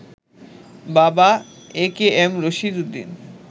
বাবা একেএম রশিদ উদ্দিন